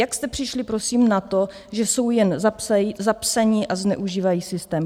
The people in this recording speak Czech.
Jak jste přišli prosím na to, že jsou jen zapsaní a zneužívají systém?